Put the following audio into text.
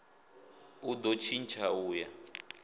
u do tshintsha u ya